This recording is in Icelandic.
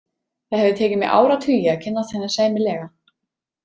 Það hefur tekið mig áratugi að kynnast henni sæmilega.